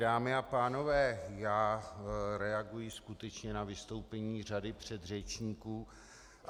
Dámy a pánové, já reaguji skutečně na vystoupení řady předřečníků.